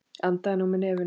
Andaðu nú með nefinu!